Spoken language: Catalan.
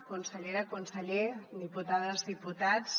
consellera conseller diputades diputats